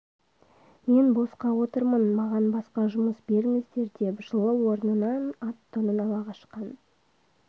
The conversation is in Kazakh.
мен босқа отырмын маған басқа жұмыс берңздер деп жылы орнынан ат-тонын ала қашқан